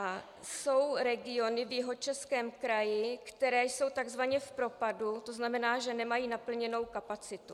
A jsou regiony v Jihočeském kraji, které jsou takzvaně v propadu, to znamená, že nemají naplněnou kapacitu.